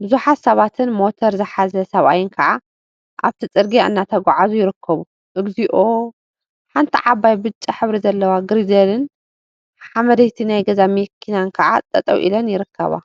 ቡዙሓት ሰባትን ሞተር ዝሓዘ ሰብአይን ከዓ አብቲ ፅርግያ እናተጓዓዙ ይርከቡ፡፡ እግዚኦ ሓንቲ ዓባይ ብጫ ሕብሪ ዘለዎ ግሪደልን ሓመደቲት ናይ ገዛ መኪናን ከዓ ጠጠው ኢለን ይርከባ፡፡